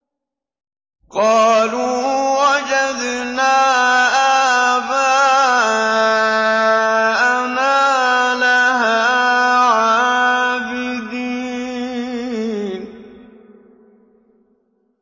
قَالُوا وَجَدْنَا آبَاءَنَا لَهَا عَابِدِينَ